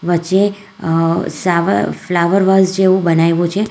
વચ્ચે અહ સાવ ફ્લાવર વોલ્સ જેવું બનાયવું છે.